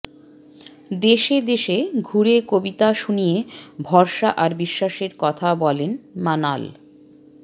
দেশে দেশে ঘুরে কবিতা শুনিয়ে ভরসা আর বিশ্বাসের কথা বলেন মানাল